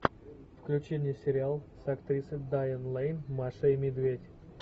включи мне сериал с актрисой дайан лэйн маша и медведь